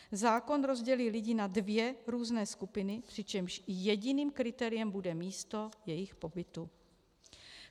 Zákon rozdělí lidi na dvě různé skupiny, přičemž jediným kritériem bude místo jejich pobytu.